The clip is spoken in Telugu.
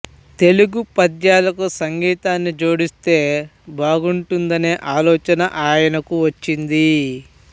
తెలుగు పద్యాలకు సంగీతాన్ని జోడిస్తే బాగుంటుందనే ఆలోచన ఆయనకు వచ్చింది